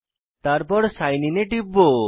তারপর sign in এ টিপব